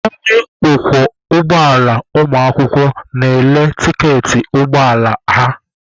Onye ọkwọ ụgbọala ụmụakwụkwọ na-ele tiketi ụgbọ ala ha.